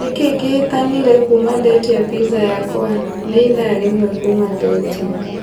Nĩ kĩĩ kĩhĩtanire kuuma ndetia pizza yakwa, nĩ ithaa rĩmwe kuuma ndeetia.